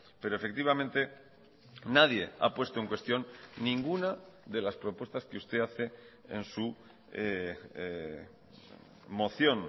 pero efectivamente nadie ha puesto en cuestión ninguna de las propuestas que usted hace en su moción